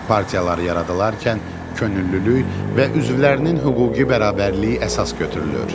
Partiyalar yaranarkən könüllülük və üzvlərinin hüquqi bərabərliyi əsas götürülür.